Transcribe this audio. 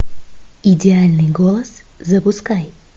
идеальный голос запускай